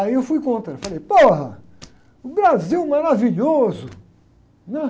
Aí eu fui contra, falei, o Brasil maravilhoso, né?